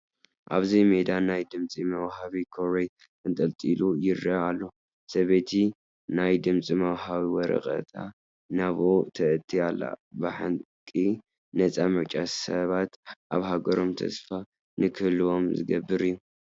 ኣብዚ ሜዳ ናይ ድምፂ መውሃቢ ኮረጅ ተንጠልጢሉ ይርአ ኣሎ፡፡ ሰበይቲ ናይ ድምፂ መውሃቢ ወረቐታ ናብኡ ተእቱ ኣላ፡፡ ብሓቂ ነፃ ምርጫ ሰባት ኣብ ሃገሮም ተስፋ ንክህልዎም ዝገብር እዩ፡፡